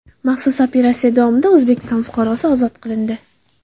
Maxsus operatsiya davomida O‘zbekiston fuqarosi ozod qilindi.